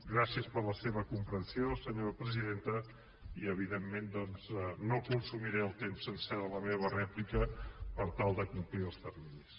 gràcies per la seva comprensió senyora presidenta i evidentment no consumiré el temps sencer de la meva rèplica per tal de complir els terminis